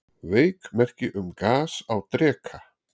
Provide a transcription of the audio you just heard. Veik merki um gas á Dreka